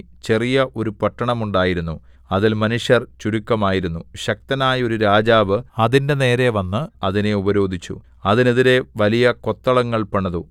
ചെറിയ ഒരു പട്ടണം ഉണ്ടായിരുന്നു അതിൽ മനുഷ്യർ ചുരുക്കമായിരുന്നു ശക്തനായ ഒരു രാജാവ് അതിന്റെ നേരെ വന്ന് അതിനെ ഉപരോധിച്ചു അതിനെതിരെ വലിയ കൊത്തളങ്ങൾ പണിതു